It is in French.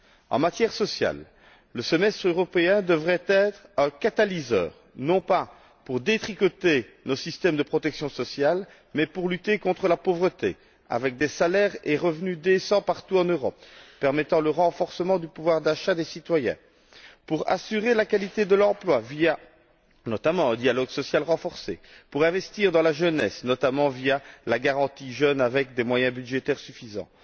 En matière sociale, le semestre européen devrait être un catalyseur, non pas pour détricoter le système de protection sociale mais pour lutter contre la pauvreté, avec des salaires et revenus décents partout en Europe qui permettent le renforcement du pouvoir d'achat des citoyens, pour assurer la qualité de l'emploi, notamment grâce à un dialogue social renforcé, et pour investir dans la jeunesse, notamment via la garantie jeunes, avec des moyens budgétaires suffisants.